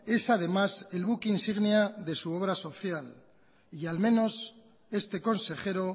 es además el buque insignia de su obra social y al menos este consejero